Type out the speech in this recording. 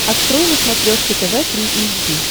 открой на смотрешке тв три эйч ди